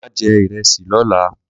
ma je iresi lola.